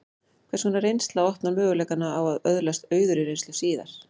Hvers konar reynsla opnar möguleikana á að öðlast auðugri reynslu síðar?